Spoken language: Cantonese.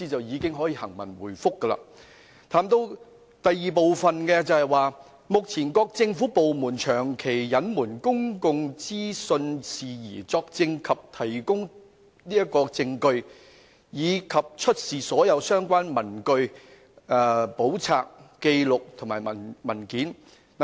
議案的第二部分指，"及目前各政府部門長期隱瞞公共資訊事宜，作證及提供證據，以及出示所有相關的文據、簿冊、紀錄或文件。